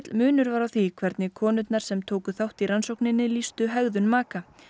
munur var á því hvernig konurnar sem tóku þátt í rannsókninni lýstu hegðun maka